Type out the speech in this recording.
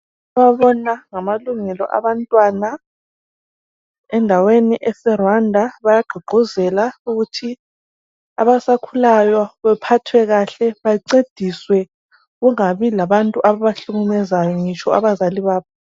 Ababona ngamalungelo abantwana endaweni ese Rwanda bayagquguzela ukuthi abasakhulayo bephathwe kahle. Bancediswe kungabi labantu ababahlukumezayo ngitsho abazali babo ..